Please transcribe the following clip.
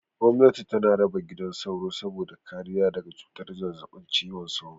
Gomnati tana raba gidan sauro saboda kariya daga cutar zazzaɓin cizon sauro.